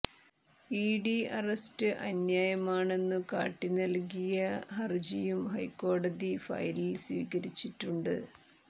ED arrest അന്യായമാണെന്നു കാട്ടി നൽകിയ ഹർജിയും ഹൈക്കോടതി ഫയലിൽ സ്വീകരിച്ചിട്ടുണ്ട്